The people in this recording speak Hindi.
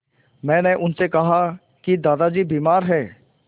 मैंने उनसे कहा कि दादाजी बीमार हैं